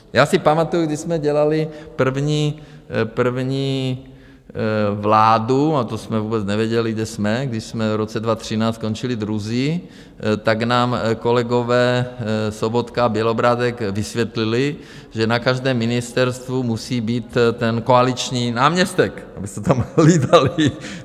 Já si pamatuji, když jsme dělali první vládu - a to jsme vůbec nevěděli, kde jsme, když jsme v roce 2013 skončili druzí - tak nám kolegové Sobotka a Bělobrádek vysvětlili, že na každém ministerstvu musí být ten koaliční náměstek, aby se tam hlídali.